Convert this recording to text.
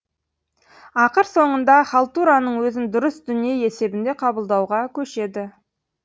ақыр соңында халтураның өзін дұрыс дүние есебінде қабылдауға көшеді